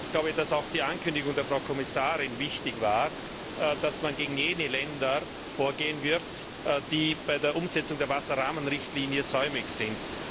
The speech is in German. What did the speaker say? Ich glaube, dass auch die Ankündigung der Frau Kommissarin wichtig war, dass man gegen jene Länder vorgehen wird, die bei der Umsetzung der Wasserrahmenrichtlinie säumig sind.